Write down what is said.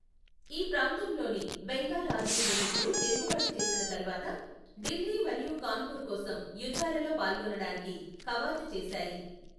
ఈ ప్రాంతంలోని బెంగాల్ ఆర్మీ యూనిట్లు తిరుగుబాటు చేసిన తరువాత, ఢిల్లీ మరియు కాన్పూర్ కోసం యుద్ధాలలో పాల్గొనడానికి కవాతు చేశాయి.